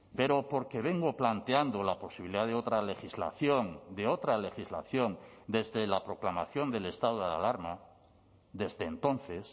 pero porque vengo planteando la posibilidad de otra legislación de otra legislación desde la proclamación del estado de alarma desde entonces